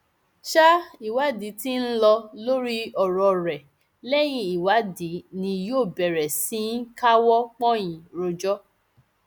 ṣa ìwádìí tí ń lọ lórí ọ̀rọ̀ rẹ lẹyìn ìwádìí ni yóò bẹrẹ sí í káwọ pọnyìn rojọ